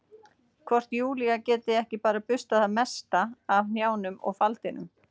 Hvort Júlía geti ekki bara burstað það mesta af hnjánum og faldinum?